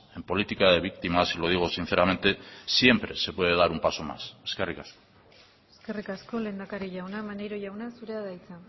en política de víctimas y lo digo sinceramente siempre se puede dar un paso más eskerrik asko eskerrik asko lehendakari jauna maneiro jauna zurea da hitza